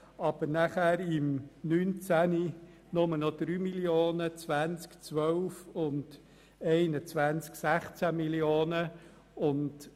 Im Jahr 2020 werden es 12 Mio. Franken sein und im Jahr 2021 16 Mio. Franken.